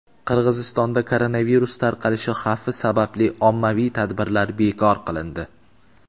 Qirg‘izistonda koronavirus tarqalishi xavfi sababli ommaviy tadbirlar bekor qilindi.